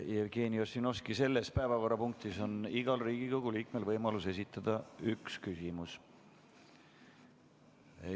Jevgeni Ossinovski, selle päevakorrapunkti puhul on igal Riigikogu liikmel võimalus esitada üks küsimus.